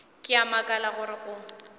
ke a makala gore o